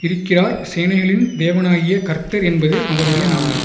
இருக்கிறார் சேனைகளின் தேவனாகிய கர்த்தர் என்பது அவருடைய நாமம்